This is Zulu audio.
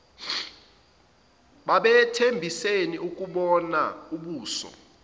babethembisene ukubonana ubuso